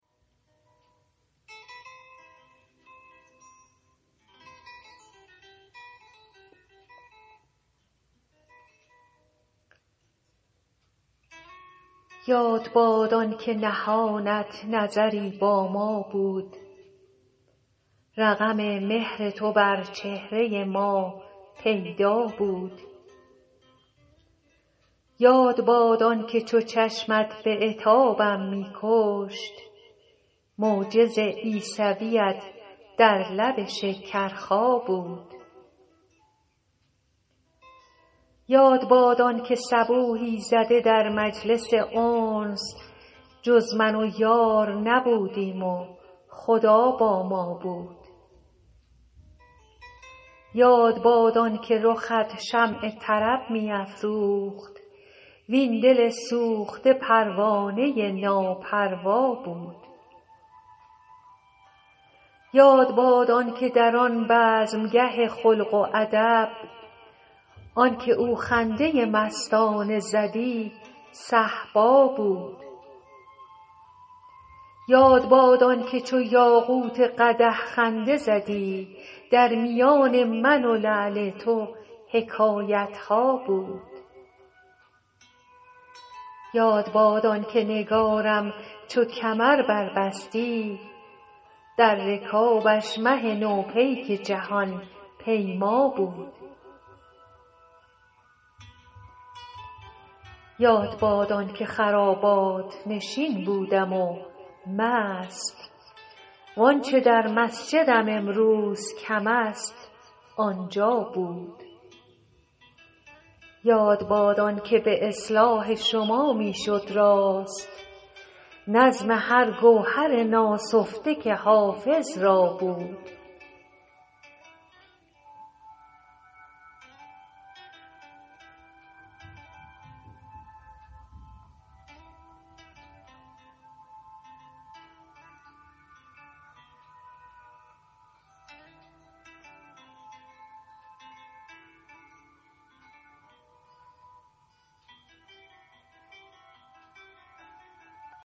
یاد باد آن که نهانت نظری با ما بود رقم مهر تو بر چهره ما پیدا بود یاد باد آن که چو چشمت به عتابم می کشت معجز عیسویت در لب شکرخا بود یاد باد آن که صبوحی زده در مجلس انس جز من و یار نبودیم و خدا با ما بود یاد باد آن که رخت شمع طرب می افروخت وین دل سوخته پروانه ناپروا بود یاد باد آن که در آن بزمگه خلق و ادب آن که او خنده مستانه زدی صهبا بود یاد باد آن که چو یاقوت قدح خنده زدی در میان من و لعل تو حکایت ها بود یاد باد آن که نگارم چو کمر بربستی در رکابش مه نو پیک جهان پیما بود یاد باد آن که خرابات نشین بودم و مست وآنچه در مسجدم امروز کم است آنجا بود یاد باد آن که به اصلاح شما می شد راست نظم هر گوهر ناسفته که حافظ را بود